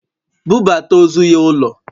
Bubata ozu ya ulo!